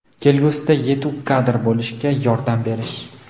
kelgusida yetuk kadr bo‘lishiga yordam berish.